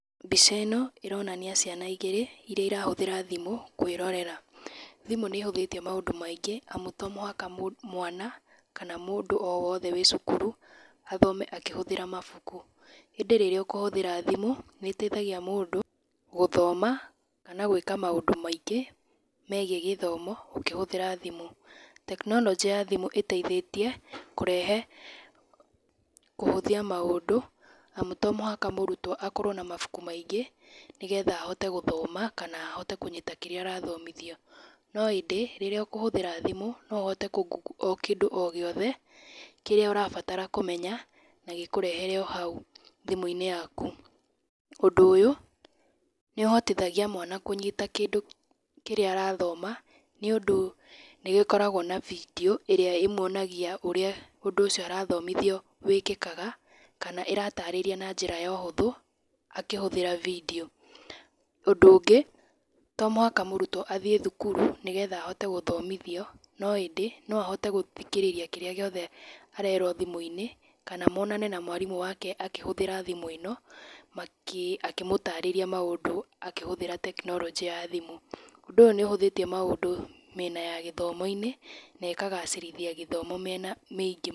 Mbica ĩno, ĩronania ciana igĩrĩ, iria irahũthĩra thimũ kwĩrorera, Thimũ nĩ ĩhũthĩtie maũndũ maingĩ amu to mũhaka mwana kana mũndũ o wothe wĩ cukuru, athome akĩhũthĩra mabuku, ĩndĩ rĩrĩa ũkũhũthĩra thimũ, nĩ ĩteithagia mũndũ gũthoma kana gwĩka maũndũ maingĩ, megiĩ gĩthomo ũkĩhũthĩra thimũ. Tekinoronjĩ ya thimũ ĩteithĩtie kũrehe kũhũthia maũndũ, amu to mũhaka mũrutwo akorwo na mabuku maingĩ, nĩgetha ahote gũthoma kana ahote kũnyita kĩrĩa arathomithio, no ĩndĩ, rĩrĩa ũkũhũthĩra thimũ no ũhote kũngungu o kĩndũ o gĩothe kĩrĩa ũrabatara kũmenya na gĩkũrehere o hau thimũ-inĩ yaku. Ũndũ ũyũ nĩ ũhotithagia mwana kũnyita kĩndũ kĩrĩa arathoma, nĩũndũ nĩ gĩkoragwo na bindio ĩrĩa ĩmwonagia ũrĩa ũndũ ũcio arathomithio wĩkĩkaga, kana ĩratarĩria na njra ya ũhũthũ akĩhũthĩra bindio. Ũndũ ũngĩ, to mũhaka mũrutwo athiĩ thukuru nĩgetha ahote gũthomithio, no ĩndĩ no ahote gũthikĩrĩria kĩrĩa gĩothe arerwo thimũ-inĩ kana monane na mwarimũ wake akĩhũthĩra thimũ ĩno, makĩ akĩmũtarĩria maũndũ akĩhũthĩra tekinoronjĩ ya thimũ, ũndũ ũyũ nĩ ũhũthĩtie maũndũ mĩena ya gĩthomo-inĩ nekagacĩrithia gĩthomo mĩena mĩingĩ.